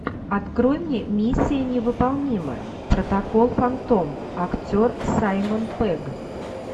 открой мне миссия невыполнима протокол фантом актер саймон пегг